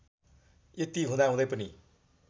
यति हुदाहुँदै पनि